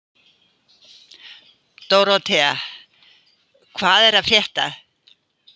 Dórótea, hvað er að frétta?